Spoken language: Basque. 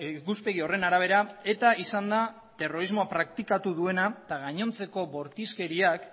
ikuspegi horren arabera eta izan da terrorismoa praktikatu duena eta gainontzeko bortizkeriak